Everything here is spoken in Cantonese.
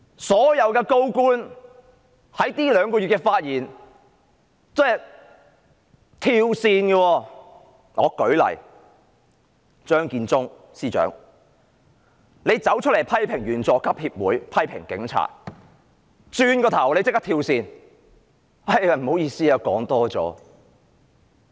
所有高官在這兩個月的發言都是"跳線"的，舉例說，張建宗司長出來批評香港警察隊員佐級協會、批評警察，轉過身立刻"跳線"，說不好意思，說多了。